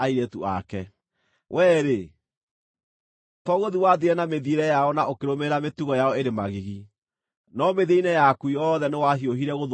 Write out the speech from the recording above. Wee-rĩ, to gũthiĩ wathiire na mĩthiĩre yao na ũkĩrũmĩrĩra mĩtugo yao ĩrĩ magigi, no mĩthiĩre-inĩ yaku yothe nĩwahiũhire gũthũka kũmakĩra.